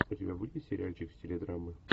у тебя будет сериальчик в стиле драмы